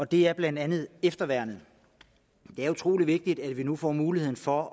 det er blandt andet efterværnet det er utrolig vigtigt at vi nu får muligheden for